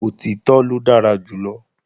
Òtítọ́ ló dára jù lọ